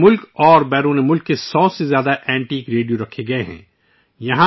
بھارت اور بیرون ملک سے 100 سے زیادہ قدیم ریڈیو یہاں دکھائے جاتے ہیں